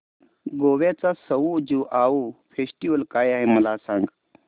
गोव्याचा सउ ज्युआउ फेस्टिवल काय आहे मला सांग